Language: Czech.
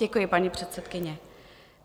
Děkuji, paní předsedkyně.